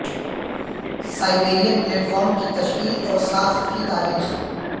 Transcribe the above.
Siberian platform کی تشکیل اور ساخت کی تاریخ